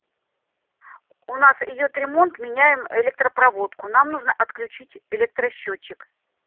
у нас идёт ремонт меняем электропроводку нам нужно отключить электросчётчик